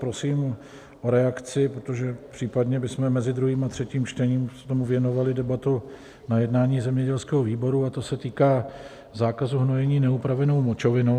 Prosím o reakci, protože případně bychom mezi druhým a třetím čtením tomu věnovali debatu na jednání zemědělského výboru, a to se týká zákazu hnojení neupravenou močovinou.